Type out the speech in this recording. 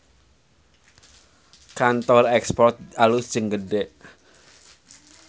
Kantor Export alus jeung gede